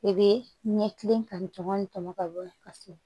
I bɛ ɲɛkili ka tɔmɔ ni tɔmɔnɔ ka bɔ ye ka so